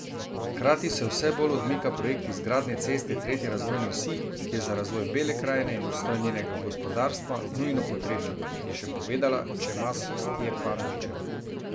Hkrati se vse bolj odmika projekt izgradnje ceste tretje razvojne osi, ki je za razvoj Bele krajine in obstoj njenega gospodarstva nujno potrebna, je še povedala Čemas Stjepanovičeva.